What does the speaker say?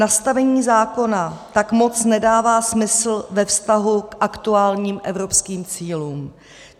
Nastavení zákona tak moc nedává smysl ve vztahu k aktuálním evropským cílům.